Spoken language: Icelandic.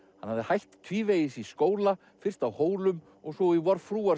hafði hætt tvívegis í skóla fyrst á Hólum og svo í